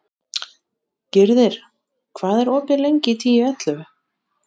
Gyrðir, hvað er opið lengi í Tíu ellefu?